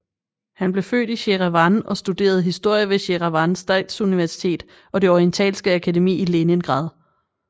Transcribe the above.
Han blev født i Jerevan og studerede historie ved Jerevan Statsuniversitet og det Orientalske Akademi i Leningrad